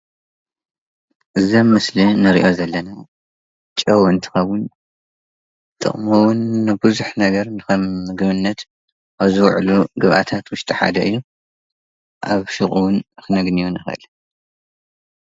እዚ ኣብዚ ምስሊ እንርእዮ ዘለና ጨዉ እንትከዉን ጥቅሙ እዉን ንቡዙሕ ነገር ንከም ምግብነት ኣብ ዝዉዕሉ ግብኣታት ውሽጢ ሓደ እዩ:: ኣብ ሱቅ እዉን ክነግንዮ ንክእል::